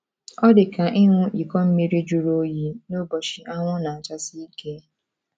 Ọ dị ka ịṅụ iko mmiri jụrụ oyi n’ụbọchị anwụ na - achasi ike.